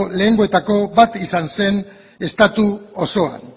lehenengoetako bat izan zen estatu osoan